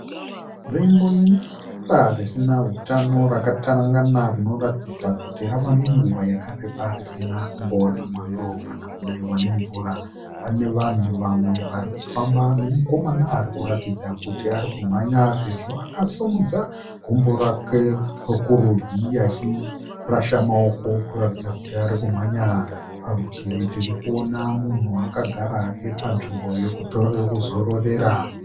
Nzvimbo ine sora risina hutano rakatarangana rinoratidza kuti rava nenguva yakareba risina kumbowana mwando kana kunaiwa nemvura. Pane vanhu vamwe vari kufamba nemukomana ari kuratidza kuti ari kumhanya sezvo akasimudza gumbo rake rokurudyi achirasha maoko kuratidza kuti ari kumhanya. Parutivi tiri kuona munhu akagara hake panzvimbo yekuzororera.